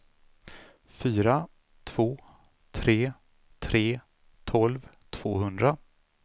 fyra två tre tre tolv tvåhundra